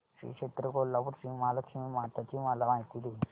श्री क्षेत्र कोल्हापूर श्रीमहालक्ष्मी माता ची मला माहिती दे